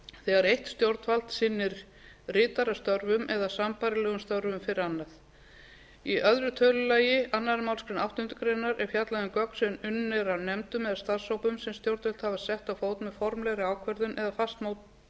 þegar eitt stjórnvald sinnir ritarastörfum eða sambærilegum störfum fyrir annað í öðrum tölulið annarri málsgrein áttundu grein er fjallað um gögn sem unnin eru af nefndum eða starfshóp sem stjórnvöld hafa sett á fót með formlegri ákvörðun eða fastmótuðu